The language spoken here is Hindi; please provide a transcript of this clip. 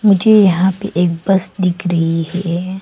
मुझे यहां पे एक बस दिख रही है।